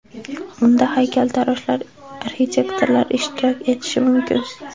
Unda haykaltaroshlar, arxitektorlar ishtirok etishi mumkin.